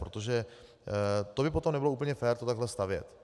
Protože to by potom nebylo úplně fér to takhle stavět.